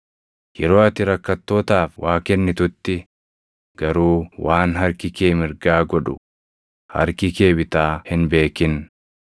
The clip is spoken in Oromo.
Yeroo ati rakkattootaaf waa kennitutti garuu waan harki kee mirgaa godhu, harki kee bitaa hin beekin;